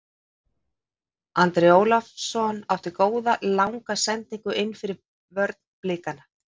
Andri Ólafsson átti góða langa sendingu innfyrir vörn Blikana.